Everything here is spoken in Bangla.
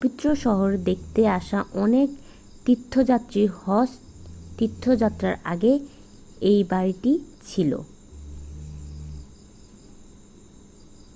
পবিত্র শহর দেখতে আসা অনেক তীর্থযাত্রী হজ তীর্থযাত্রার আগে এই বাড়িটিতে ছিল